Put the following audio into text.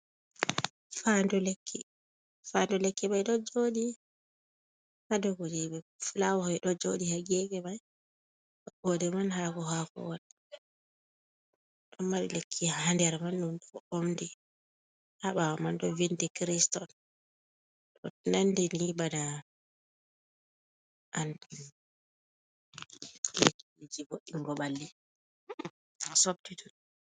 Fa ndu lekki, fa ndu lekki mai ɗo joɗi ha dow kuje be fulawaji ɗo joɗi ha gefe mai maɓɓode man hako- hako wata do mari lekki hander man dun bo omdi habawa man do vindi carist on dɗo nandi ni bana anlekkilji bo ɗingo balli sobtitu.